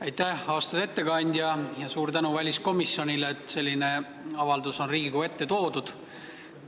Aitäh, austatud ettekandja, ja suur tänu väliskomisjonile, et selline avaldus on Riigikogu ette toodud!